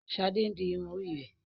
Shade ǹ di irun ori rẹ.